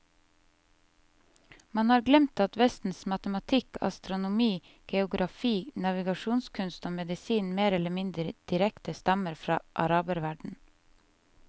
Man har glemt at vestens matematikk, astronomi, geografi, navigasjonskunst og medisin mer eller mindre direkte stammer fra araberverdenen.